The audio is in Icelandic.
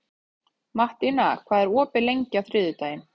Mattína, hvað er opið lengi á þriðjudaginn?